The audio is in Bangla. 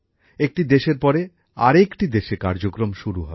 একটি দেশের পরে আর একটি দেশে কার্য্যক্রম শুরু হবে